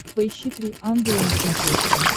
поищи три ангела на смотрешке